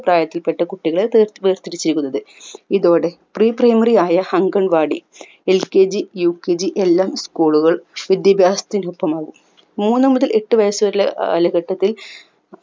പ്രായത്തിൽപ്പെട്ട കുട്ടികൾ ത് വേർതിരിചേക്കുന്നത് ഇതോടെ pre primary ആയ അംഗൻവാടി LKG UKG എല്ലാം school കൾ വിദ്യാഭ്യാസത്തിനൊപ്പമാകും മൂന്ന് മുതൽ എട്ട് വയസു വരെലെ കാലഘട്ടത്തിൽ